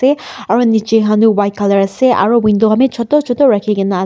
aro nichey han tu white colour ase aro ok window khanbi choto choto rakhi kena as--